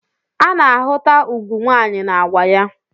Ana-ahụta ugwu nwanyị na agwa ya